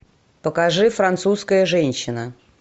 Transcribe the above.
покажи французская женщина